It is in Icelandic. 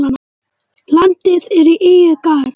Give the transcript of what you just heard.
Landið er í eigu Garðs.